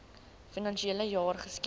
finansiele jaar geskied